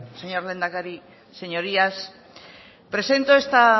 señor lehendakari señorías presento esta